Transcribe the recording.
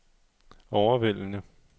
overvældende